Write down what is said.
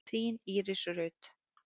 Þín Íris Rut.